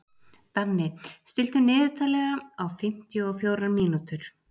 Danni, stilltu niðurteljara á fimmtíu og fjórar mínútur.